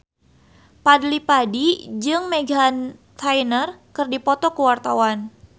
Fadly Padi jeung Meghan Trainor keur dipoto ku wartawan